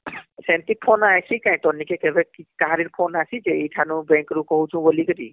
ସେମିତି phone ଆଇଁଷି କାଇଁ ତୋର ନିକି କେଭେ କାହାରି ଅସୀଛେ ?ଏଇଠାନୁ bank ରୁ କହୁଛୁ ବୋଲିକରି